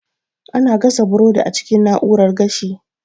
Ana gasa burodi a cikin na'urar gashi